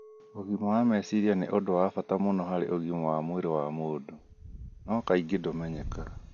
Ũgima wa meciria nĩ ũndũ wa bata mũno harĩ ũgima wa mwĩrĩ wa mũndũ, no kaingĩ ndũmenyekaga.